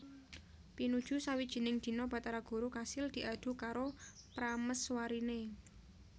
Pinuju sawijining dina Bathara Guru kasil diadu karo pramèswariné